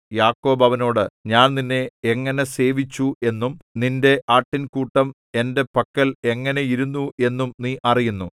യാക്കോബ് അവനോട് ഞാൻ നിന്നെ എങ്ങനെ സേവിച്ചു എന്നും നിന്റെ ആട്ടിൻകൂട്ടം എന്റെ പക്കൽ എങ്ങനെ ഇരുന്നു എന്നും നീ അറിയുന്നു